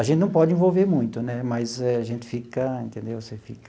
A gente não pode envolver muito né, mas a gente fica, entendeu? Você fica...